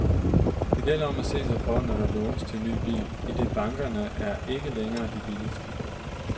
Det gælder om at se sig for, når der skal lånes til ny bil, idet bankerne er ikke længere de billigste.